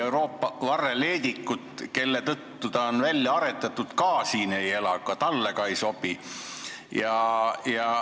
Euroopa varreleedikut, kelle tõttu ta on välja aretatud, ka siin ei ole.